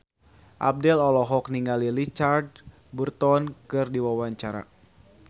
Abdel olohok ningali Richard Burton keur diwawancara